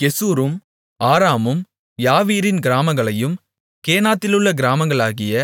கெசூரும் ஆராமும் யாவீரின் கிராமங்களையும் கேனாத்திலுள்ள கிராமங்களாகிய